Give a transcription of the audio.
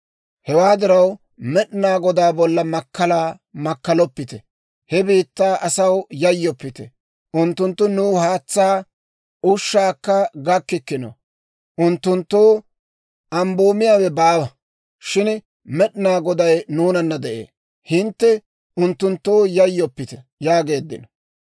Hewaa diraw, Med'inaa Godaa bolla makkalaa makkaloppite. He biittaa asaw yayyoppite; unttunttu nuw haatsaa ushshakka gakkikkino. Unttunttoo ambboomiyaawe baawa; shin Med'inaa Goday nuunana de'ee. Hintte unttunttoo yayyoppite!» yaageeddino.